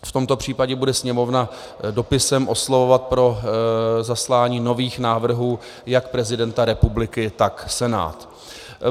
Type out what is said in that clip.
V tomto případě bude Sněmovna dopisem oslovovat pro zaslání nových návrhů jak prezidenta republiky, tak Senát.